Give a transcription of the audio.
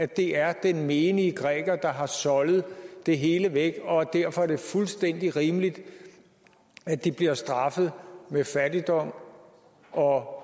det er den menige græker der har soldet det hele væk og at det derfor er fuldstændig rimeligt at de bliver straffet med fattigdom og